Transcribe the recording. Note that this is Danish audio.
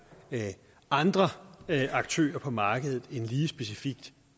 andre aktører på markedet end lige specifikt